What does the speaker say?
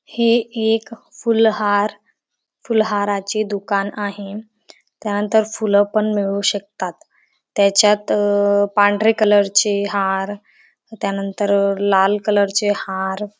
हे एक फुल हार फुल हाराचे दुकान आहे त्यानंतर फुल पण मिळू शकतात त्याच्यात अंह पांढरे कलर चे हार त्यानंतर अंह लाल कलरचे हार --